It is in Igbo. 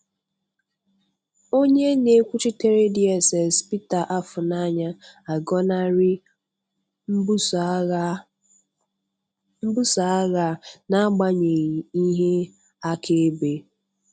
Onye na-ekwuchitere DSS, Peter Afunanya, agọnarị mbuso agha a n'agbanyeghị ihe akaebe.